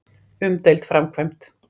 Umdeild framkvæmd.